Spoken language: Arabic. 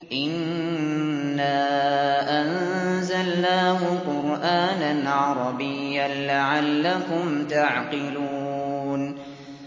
إِنَّا أَنزَلْنَاهُ قُرْآنًا عَرَبِيًّا لَّعَلَّكُمْ تَعْقِلُونَ